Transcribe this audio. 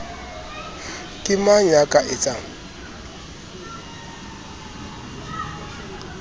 ke mang ya ka etsang